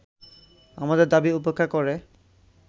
আমাদের দাবী উপেক্ষা করে